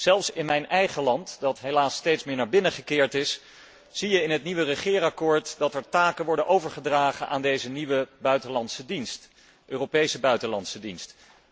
Zelfs in mijn eigen land, dat helaas steeds meer naar binnen gekeerd is, zie je in het nieuwe regeerakkoord dat er taken worden overgedragen aan deze nieuwe Europese buitenlandse dienst.